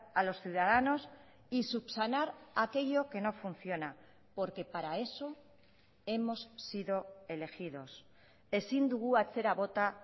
a los ciudadanos y subsanar aquello que no funciona porque para eso hemos sido elegidos ezin dugu atzera bota